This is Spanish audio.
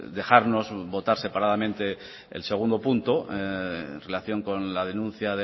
dejarnos votar separadamente el punto dos en relación con la denuncia